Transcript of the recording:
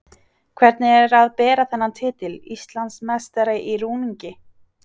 Hvernig er að bera þennan titil: Íslandsmeistari í rúningi?